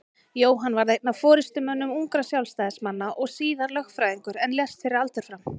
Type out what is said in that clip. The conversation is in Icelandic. Jóhann varð einn af forystumönnum ungra Sjálfstæðismanna og síðar lögfræðingur en lést fyrir aldur fram.